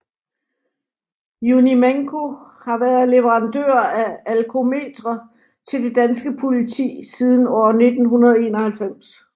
Unimenco har været leverandør af alkometre til det danske politi siden år 1991